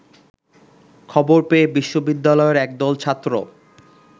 খবর পেয়ে বিশ্ববিদ্যালয়ের একদল ছাত্র